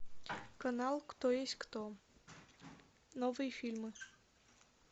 канал кто есть кто новые фильмы